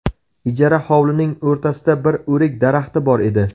Ijara hovlining o‘rtasida bir o‘rik daraxti bor edi.